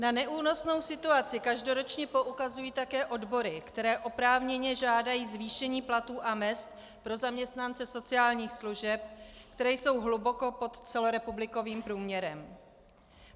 Na neúnosnou situaci každoročně poukazují také odbory, které oprávněně žádají zvýšení platů a mezd pro zaměstnance sociálních služeb, které jsou hluboko pod celorepublikovým průměrem.